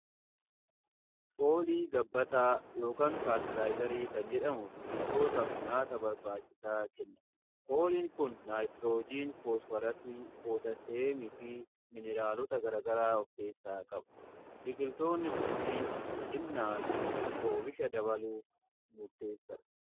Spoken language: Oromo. Foolii gabbataa yookiin faartilaazarii kan jedhamu biiqiltootaaf nyaata barbaachisaa kenna. Fooliin kun naayitiroojeen fosfarasii pootaseemi fi mineraalota garagaraa of keessaa qabu. Biqiltoonni kunniin guddinaa fi oomisha dabaluuf murteessadha.